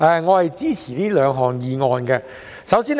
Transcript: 我支持原議案和修正案。